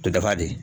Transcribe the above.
To dafa de